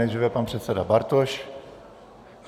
Nejdříve pan předseda Bartoš.